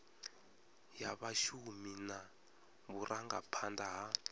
ya vhashumi na vhurangaphanda ha